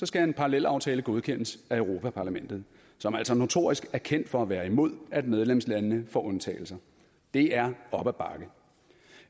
skal en parallelaftale godkendes af europa parlamentet som altså notorisk er kendt for at være imod at medlemslandene får undtagelser det er op ad bakke